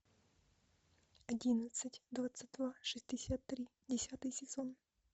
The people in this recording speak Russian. одиннадцать двадцать два шестьдесят три десятый сезон